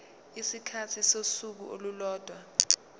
isikhathi sosuku olulodwa